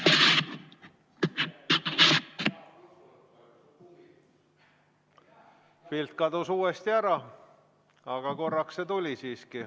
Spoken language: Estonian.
Pilt kadus uuesti ära, aga korraks see tuli siiski.